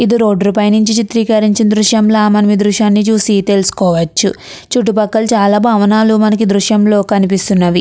ఇది రోడ్డు పక్కన నుంచి చిత్రీకరించి దృశ్యం చూసి తెలుసుకోవచ్చు. చుట్టుపక్కల చాలా భవనాలు మనం దృశ్యంలో కనిపిస్తుంది.